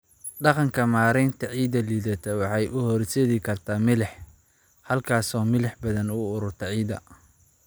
Dhaqanka maaraynta ciidda liidata waxay u horseedi kartaa milix, halkaasoo milix badani ku ururto ciidda.